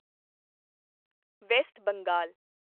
West Bengal